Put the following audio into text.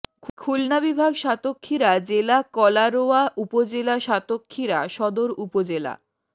খুলনা বিভাগ সাতক্ষীরা জেলা কলারোয়া উপজেলা সাতক্ষীরা সদর উপজেলা